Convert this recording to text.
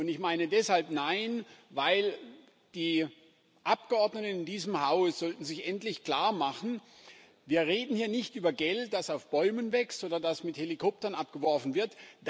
Ich meine deshalb Nein, weil die Abgeordneten in diesem Haus sich endlich klarmachen sollten Wir reden hier nicht über Geld, das auf Bäumen wächst oder das mit Helikoptern abgeworfen wird